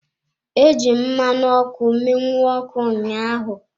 Eji m mmanụ ọkụ mụnye ọkụ ụnyaahụ.